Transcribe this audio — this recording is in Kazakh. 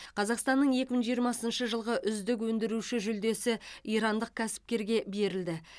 қазақстанның екі мың жиырмасыншы жылғы үздік өндіруші жүлдесі ирандық кәсіпкерге берілді